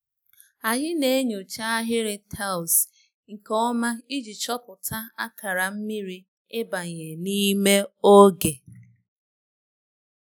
Anyị na-enyocha ahịrị taịls nke ọma iji chọpụta akara mmiri ịbanye n'ime n'oge.